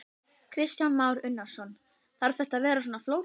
Kristján Már Unnarsson: Þarf þetta að vera svona flókið?